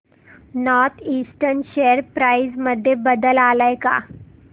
north eastern share price मध्ये बदल आलाय का